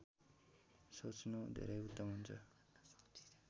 सोच्नु धेरै उत्तम हुन्छ